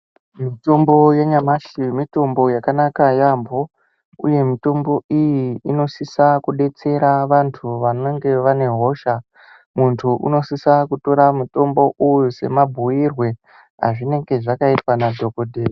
Mitombo yanyamashi mitombo yakanaka yampho, uye mutombo iyi inosisa kudetsera antu anenge anehosha. Muntu unosisa kutora mutombo uyu semabhuirwe azvinenge zvakaitwa nadhokodheya